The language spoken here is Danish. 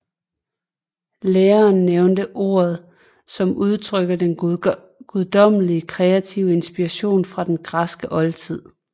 Læreren nævnte ordet som udtrykker den guddommelige kreative inspiration fra den græske oldtid